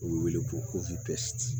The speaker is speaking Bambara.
U bɛ wele ko dɛsɛ